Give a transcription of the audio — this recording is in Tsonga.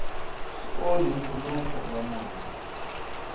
swi onhi nkhuluko wa mongo